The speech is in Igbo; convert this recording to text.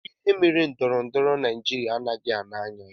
Kedụ ihe mere na ndọrọndọrọ Naijiria anaghị aga n'anya ya?